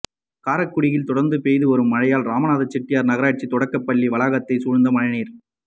காரைக்குடியில் தொடா்ந்து பெய்துவரும் மழையால் ராமநாதன் செட்டியாா் நகராட்சித் தொடக்கப்பள்ளி வளாகத்தைச் சூழந்த மழைநீா்